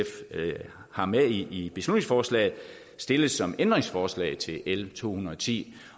har med i beslutningsforslaget stilles som ændringsforslag til l to hundrede og ti